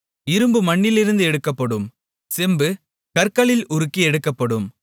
இரும்பு மண்ணிலிருந்து எடுக்கப்படும் செம்பு கற்களில் உருக்கி எடுக்கப்படும்